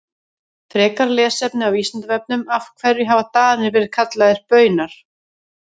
Frekara lesefni á Vísindavefnum Af hverju hafa Danir verið kallaðir Baunar?